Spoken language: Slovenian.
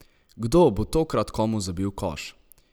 Kdo bo tokrat komu zabil koš?